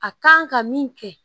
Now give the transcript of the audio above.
A kan ka min kɛ